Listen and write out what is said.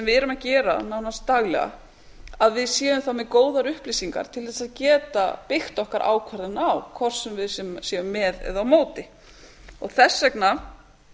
að gera nánast daglega að við séum þá með góðar upplýsingar til þess að geta byggt okkar ákvarðanir á hvort sem við séum með eða á móti þess vegna